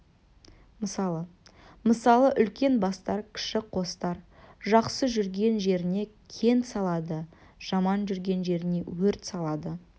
мысалы мысалы үлкен бастар кіші қостар жақсы жүрген жеріне кент салады жаман жүрген жеріне өрт салады